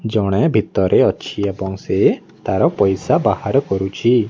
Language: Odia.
ଜଣେ ଭିତରେ ଅଛି ଏବଂ ସେ ତାର ପଇସା ବାହାର କରୁଛି।